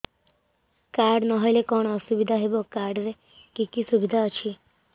card ନହେଲେ କଣ ଅସୁବିଧା ହେବ କାର୍ଡ ରେ କି କି ସୁବିଧା ଅଛି